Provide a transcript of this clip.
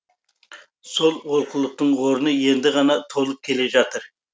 сол олқылықтың орны енді ғана толып келе жатыр